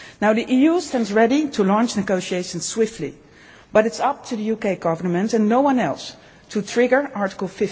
Union. The EU stands ready to launch negotiations swiftly, but it is up to the UK Government, and no one else, to trigger Article